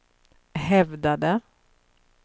hävdade